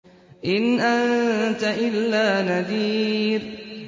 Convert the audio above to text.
إِنْ أَنتَ إِلَّا نَذِيرٌ